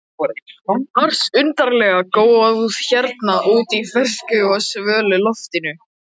ars undarlega góð hérna úti í fersku og svölu loftinu.